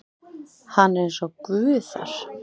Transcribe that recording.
Hann er eins og Guð þar.